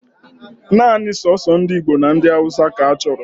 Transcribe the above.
Naanị soso ndị Igbo na ndị Hausa ka achọrọ